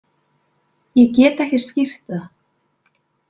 Ég get ekki skýrt það.